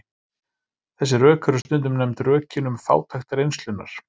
Þessi rök eru stundum nefnd rökin um fátækt reynslunnar.